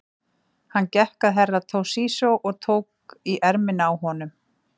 Hann gekk að Herra Toshizo og tók í ermina á honum.